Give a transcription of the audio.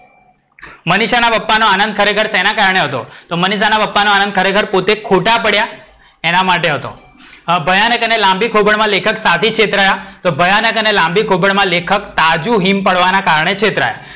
મનીષાના પપ્પાનો આનંદ ખરેખર શેના કારણે હતો? તો મનીષાના પપ્પાનો આનંદ પોતે ખોટા પડ્યા એના માટે હતો. ભયાનક અને લાંબી ખોભણમાં લેખક શાથી છેતરાયા? તો ભયાનક અને લાંબી ખોભણમાં લેખક તાજું હિમ પાડવાના કારણે છેતરાયા.